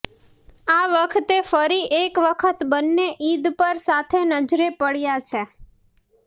આ વખતે ફરી એક વખત બંન્ને ઈદ પર સાથે નજરે પડ્યા છે